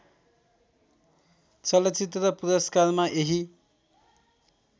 चलचित्र पुरस्कारमा यही